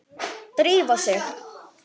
Drífa sig